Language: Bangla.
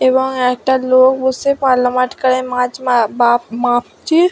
এবং একটা লোক বসে পাল্লা মাটখারায় মাছ বাপ মাপছে--